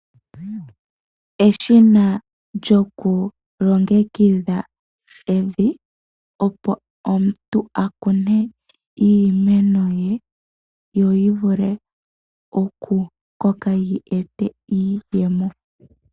Eshina lyokulongekidha evi opo omuntu akune iimeno ye, yo yivule okukoka yi ete iiyemo.